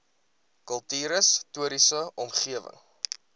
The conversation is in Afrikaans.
kultuurhis toriese omgewing